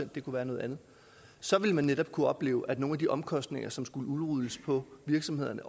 det kunne være noget andet så ville man netop kunne opleve at nogle af de omkostninger som skulle udrulles på virksomhederne